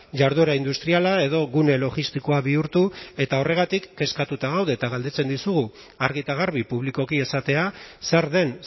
jarduera industriala edo gune logistikoa bihurtu eta horregatik kezkatuta gaude eta galdetzen dizugu argi eta garbi publikoki esatea zer den